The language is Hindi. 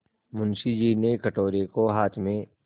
मुंशी जी ने कटोरे को हाथ में